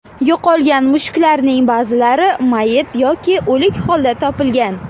Yo‘qolgan mushuklarning ba’zilari mayib yoki o‘lik holda topilgan.